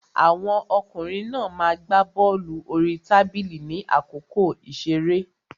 Àwọn ọkùnrin náà ma gbá bọ́lù orí tábìlì ní àkókò ìṣeré.